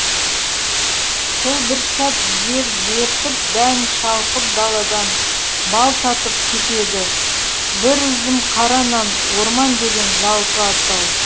сол бір сәт жер дертіп дән шалқып даладан бал татып кетеді бір үзім қара нан орман деген жалпы атау